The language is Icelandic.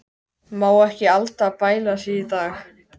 Má ekki Alda bæla sig í dag.